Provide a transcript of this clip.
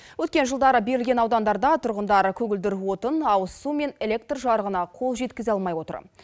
өткен жылдары берілген аудандарда тұрғындар көгілдір отын ауыз су мен электр жарығына қол жеткізе алмай отыр